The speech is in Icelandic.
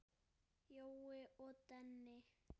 Jói og Denni.